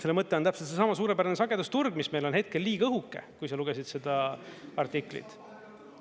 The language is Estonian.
Selle mõte on täpselt seesama suurepärane sagedusturg, mis meil on hetkel liiga õhuke, kui sa lugesid seda artiklit.